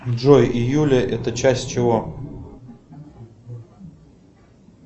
джой июля это часть чего